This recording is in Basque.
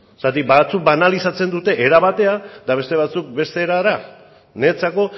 zergatik batzuk banalizatzen dute era batean eta beste batzuk beste erara niretzako